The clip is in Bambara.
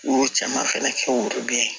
U y'o caman fɛnɛ kɛ worobinɛ ye